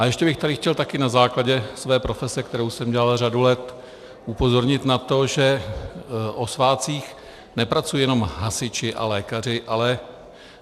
A ještě bych tady chtěl taky na základě své profese, kterou jsem dělal řadu let, upozornit na to, že o svátcích nepracují jenom hasiči a lékaři, ale -